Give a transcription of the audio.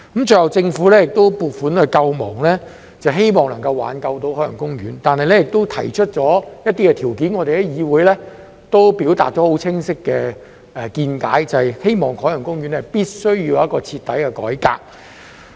最後，政府要撥款救亡，希望能挽救海洋公園，並且提出一些條件，我們在議會已表達了清晰的見解，就是希望海洋公園必須有一個徹底改革。